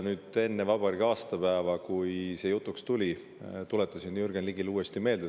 Enne vabariigi aastapäeva, kui see jutuks tuli, tuletasin Jürgen Ligile seda uuesti meelde.